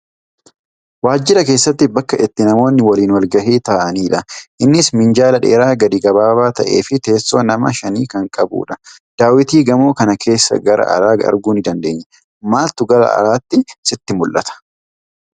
Waajjira keessatti bakka itti namoonni waliin walgahii taa'aniidha. Innis minjaala dheeraa gadi gabaabaa ta'eefi teessoo nama shani kan qabudha. Daawwitii gamoo kanaa keessan gara alaa arguu ni dandeenya. Maaltu gara alaatii sitti mul'ata?